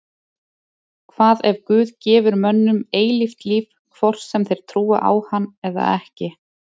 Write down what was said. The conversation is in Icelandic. Hvað ef Guð gefur mönnum eilíft líf hvort sem þeir trúa á hann eða ekki?